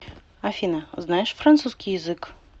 афина знаешь французский язык